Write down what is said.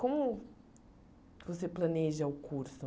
Como você planeja o curso?